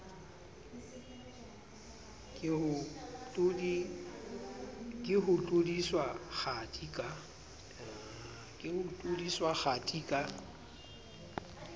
ke ho tlodiswa kgathi ka